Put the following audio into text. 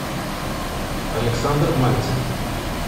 александр мальцев